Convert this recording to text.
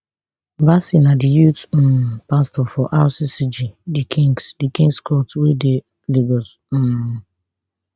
bassey na di youth um pastor for rccg the kings the kings court wey dey lagos um